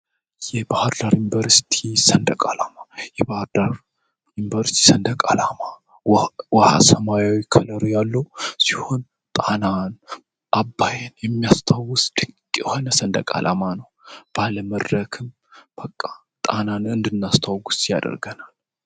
ይህ ባህርዳር ዩኒቨርሲቲ ሰንደቃላማ የባህርዳር ዩኒቨርስቲ ሰንደቃላማ ወሃ ሰማያዊ ከለሩ ያሉ ሲሆን ጣናን አባየን የሚያስታውስ ድንቅ ዮሆነ ሰንደቃላማ ነው ባለ መድረክም በቃ ጣናን እንድናስታውል ያደርገናል፡፡